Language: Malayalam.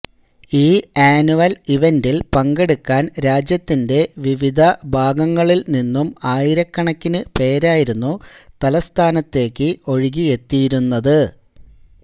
ഈ ആന്വല് ഇവന്റില് പങ്കെടുക്കാന് രാജ്യത്തിന്റെ വിവിധ ഭാഗങ്ങല് നിന്നും ആയിരക്കണക്കിന് പേരായിരുന്നു തലസ്ഥാനത്തേക്ക് ഒഴുകിയെത്തിയിരുന്നത്